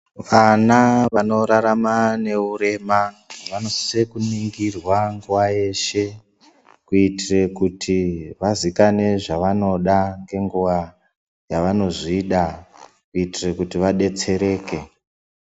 Vana vanorarama neurema vanosise kuningirwa nguwa yeshe kuitire kuti vazikanwe zvavanoda ngenguwa yavanozvida kuitire kuti vadetsereke.